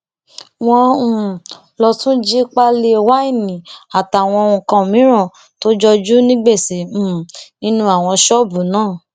wọn um lọ tún jí páálí wáìnì àtàwọn nǹkan mìín tó jojú ní gbèsè um nínú àwọn ṣọọbù náà